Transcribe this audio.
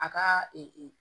A ka